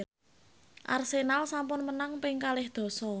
Arsenal sampun menang ping kalih dasa